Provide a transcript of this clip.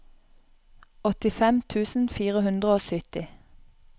åttifem tusen fire hundre og sytti